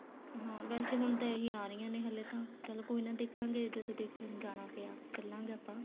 ਹਾਂ ਵੈਸੇ ਹੁਣ ਤਾਂ ਇਹੀ ਆ ਰਹੀਆਂ ਨੇ ਹਲੇ ਤਾਂ ਚੱਲ ਕੋਈ ਨਾ ਦੇਖਾਂਗੇ ਜਦੋਂ ਦੇਖਣ ਜਾਣਾ ਪਿਆ ਚਲਾਂਗੇ ਆਪਾਂ